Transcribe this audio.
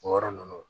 O yɔrɔ ninnu